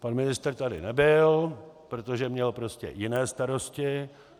Pan ministr tady nebyl, protože měl prostě jiné starosti.